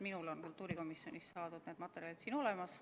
Minul on need kultuurikomisjonist saadud materjalid olemas.